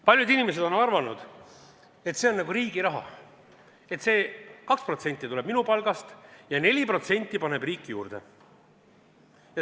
Paljud inimesed on arvanud, et see on riigi raha: 2% tuleb minu palgast ja 4% paneb riik juurde.